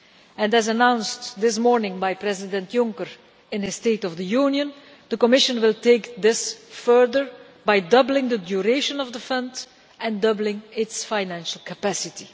And, as announced this morning by President Juncker in his State of the Union address, the Commission will take this further by doubling the duration of the Fund, and doubling its financial capacity.